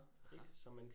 Aha